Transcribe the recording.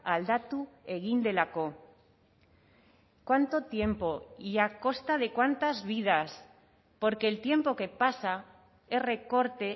aldatu egin delako cuánto tiempo y a costa de cuántas vidas porque el tiempo que pasa es recorte